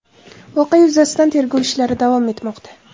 Voqea yuzasidan tergov ishlari davom etmoqda.